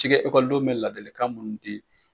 Cikɛ ekɔlidenw bɛ ladilikan minnu di.